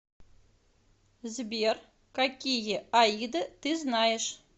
сбер какие аида ты знаешь